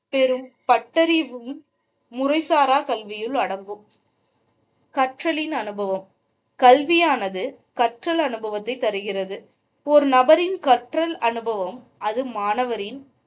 பெரும் பட்டறிவும் முறைசாரா கல்வியில் அடங்கும் கற்றலின் அனுபவம் கல்வியானது கற்றல் அனுபவத்தை தருகிறது. ஒரு நபரின் கற்றல் அனுபவம், அது மாணவரின்